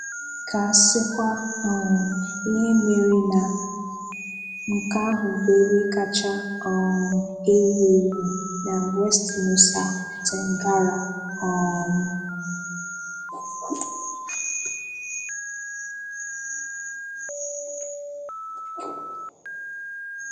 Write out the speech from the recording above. Ka a sịkwa um ihe mere na nke ahụ bụ ebe kacha um ewu ewu na West Nusa Tenggara. um